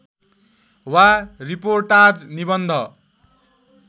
वा रिपोर्ताज निबन्ध